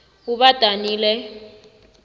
ubadanile